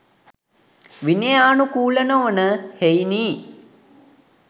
විනයානුකූල නොවන හෙයිනි.